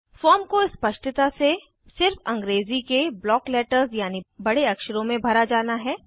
form को स्पष्टता से सिर्फ अंग्रेज़ी के ब्लॉक लेटर्स यानि बड़े अक्षरों में भरा जाना है